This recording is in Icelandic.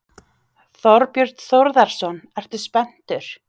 Þorbjörn Þórðarson: Ertu spenntur?